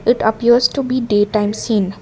It appears to be daytime scene.